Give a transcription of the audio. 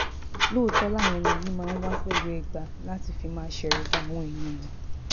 lóòótọ́ làwọn ẹni yìí máa ń wà pẹ̀lú ẹgba tí wọ́n fi máa ń ṣẹ̀rùba àwọn ènìyàn